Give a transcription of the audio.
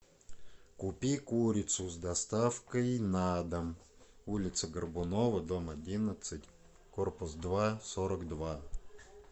купи курицу с доставкой на дом улица горбунова дом одиннадцать корпус два сорок два